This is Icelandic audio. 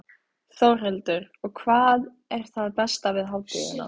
Þórhildur: Og hvað er það besta við hátíðina?